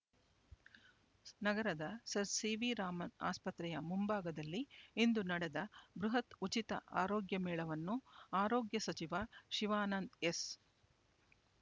ನಗರದ sir C V Raman ಆಸ್ಪತ್ರೆಯ ಮುಂಭಾಗದಲ್ಲಿ ಇಂದು ನಡೆದ ಬೃಹತ್ ಉಚಿತ ಆರೋಗ್ಯ ಮೇಳವನ್ನು ಆರೋಗ್ಯ ಸಚಿವ ಶಿವಾನಂದ ಎಸ್